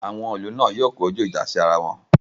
Àwọn ìlú náà yóò kojú ìjà sí ara wọn